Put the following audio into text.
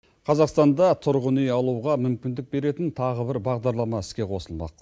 қазақстанда тұрғын үй алуға мүмкіндік беретін тағы бір бағдарлама іске қосылмақ